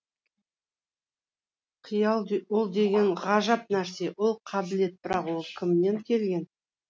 қиял ол деген ғажап нәрсе ол қабілет бірақ ол кімнен келген